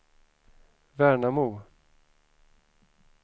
Värnamo